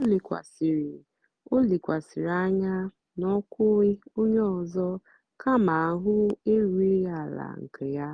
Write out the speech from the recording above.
ó lékwàsị̀rị́ ó lékwàsị̀rị́ ányá n'ókwú ónyé ọ́zọ́ kámà áhụ̀ érúghị́ àlà nkè yá.